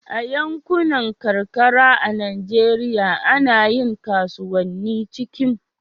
a yankunan karkara a Najeriya ana yin kasuwanni cikin